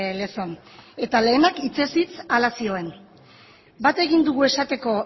lezon eta lehenak hitzez hitz hala zioen bat egin dugu esateko